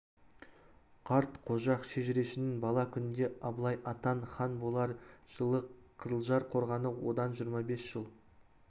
қарт қожақ шежірешінің бала күнінде абылай атаң хан болар жылы қызылжар қорғаны одан жиырма бес жыл